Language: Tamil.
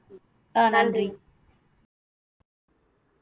அஹ் நன்றி